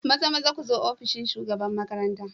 Mazamaza ku zo ofishin shugaban makaranta.